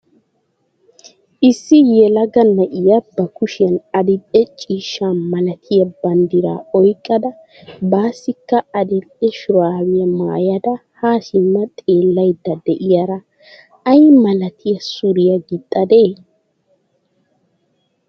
issi yelaga na'iya ba kushiyan adil''e ciishsha malatiya banddiraa oyqqada bassikka adil''e shrabiyaa maayada ha simma xeelaydda de'iyaari ay malati suriya gixxadee?